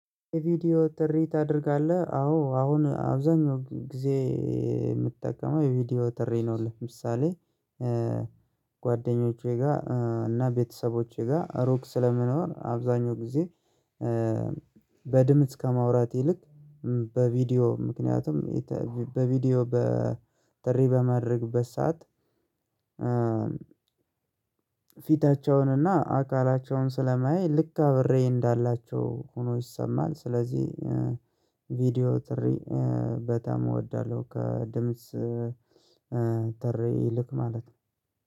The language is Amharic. ቪዲዮ ጥሪ ታደርጋለህ አዎ አሁን አብዛኛው ጊዜ የምትጠቀመው የቪዲዮ ጥሪ ነው። ለምሳሌ ጓደኞቼ ጋር እና ቤተሰቦቼ ጋር ሩቅ ስለምኖር አብዛኛው ጊዜ። በድምጽ ከማውራት ይልቅ በቪዲዮ ምክንያቱም በቪዲዮ በጥሪ በማደርግበት ሰዓት ፊታቸውንና አካላቸውን ስለማያይ ልክ አብሬ እንዳላቸው ሆኖ ይሰማል። ስለዚህ ቪዲዮ ጥሪ በጣም እወዳለሁ። ከድምጽ ጥሪ ይልቅ ማለት ነው